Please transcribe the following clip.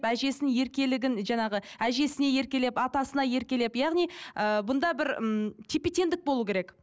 әжесінің еркелігін жаңағы әжесіне еркелеп атасына еркелеп яғни ыыы бұнда бір ммм тепе теңдік болу керек